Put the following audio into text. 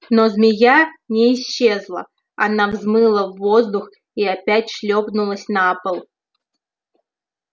но змея не исчезла она взмыла в воздух и опять шлёпнулась на пол